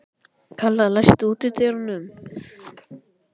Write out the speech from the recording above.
Kalla, læstu útidyrunum.